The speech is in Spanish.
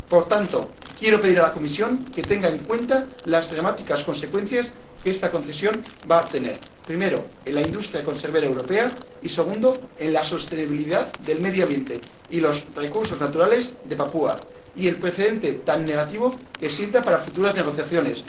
Por tanto, quiero pedir a la Comisión que tenga en cuenta las dramáticas consecuencias que esta concesión va a tener, primero, en la industria conservera europea y, segundo, en la sostenibilidad del medio ambiente y en los recursos naturales de Papúa Nueva Guinea, y el precedente tan negativo que sienta para futuras negociaciones.